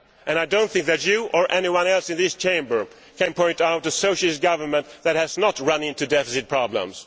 I do not think that you, or anyone else in this Chamber, can point to a Socialist government that has not run into deficit problems.